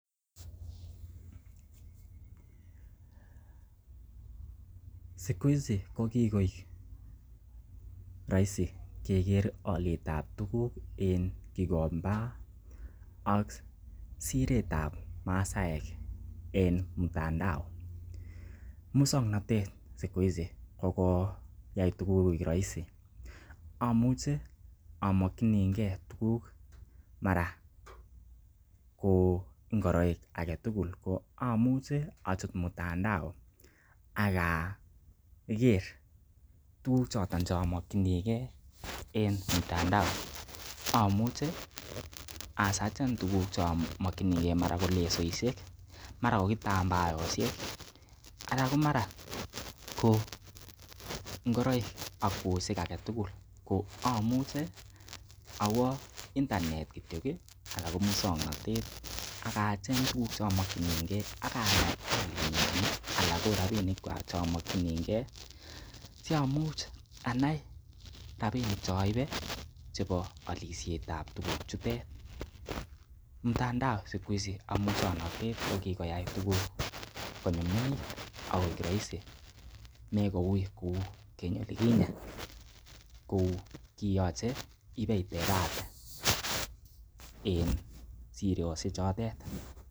Siku hizi ko kigoik roisi keger olyet abtuugk en Gikomba ak siret ab Masaaek en mtandao muswokanatet siku hizi ko koyai tuguk koik roisi, amuche amokinige tuguk mara kou ngoroik alak tugul ko amuche achut mtandao ak ager tuguk choto che amoknige en mtandao amuche asearchen tuguk choton ch eamokinige mara ko lesoishek mara ko kitambaosihek anan ko mara ko ngoroik ak kwoshek alak tugul ko amuche awo internet kityo anan ko muswaknatet ak a cheng tuguk che amokinige ak anan ko rabinikwak che omokinige siamucha anai rabinik ch eoole chebo olisiet ab tuguk chutet. Mtandao siku hizi ak muswaknatet ko kigoyai tuguk konyumnyumit ak koik roisi mekouiy kou keny olikinye kou kiyoche ibetebate en siroshek chotet.